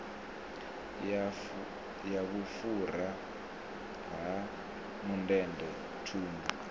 ya vhufhura ha mundende thundu